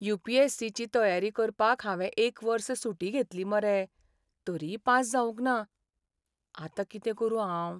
You. P. S. C. ची तयारी करपाक हांवें एक वर्स सुटी घेतली मरे, तरीय पास जावंक ना. आतां कितें करूं हांव?